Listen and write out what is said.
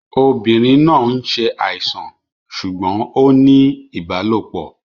Obìnrin náà ń ṣàìsàn ṣùgbọ́n ó ń ní ìbálòpọ̀